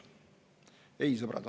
Ei, sõbrad!